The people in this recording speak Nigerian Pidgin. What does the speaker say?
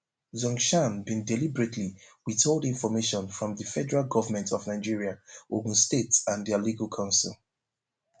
zhongshan bin deliberately withhold information from di federal government of nigeria ogun state and dia legal counsel